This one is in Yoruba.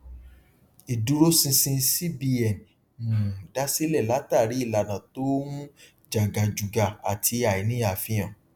ìdúróṣinṣin cbn um dásilẹ látàrí ìlànà tó ń jàgàjùgà àti àìní àfihàn